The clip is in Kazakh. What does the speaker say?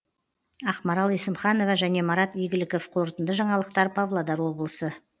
ақмарал есімханова және марат игіліков қорытынды жаңалықтар павлодар облысы